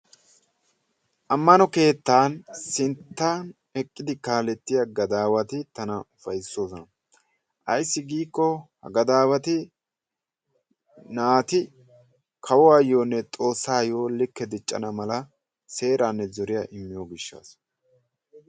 Amano keettaa sintta eqqidi kaalettiya gadaawati tana ufaysoosona. Ayssi giikko ha gadaawatti naati kawuwaayonne xoossayoo likke diccana mala seeranne zoriya immiyo gishshaasa.